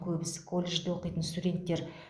көбісі колледжде оқитын студенттер